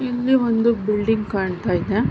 ಇಲ್ಲಿ ಒಂದು ಬಿಲ್ಡಿಂಗ್ ಕಾಣತ್ತಾಯಿದೆ .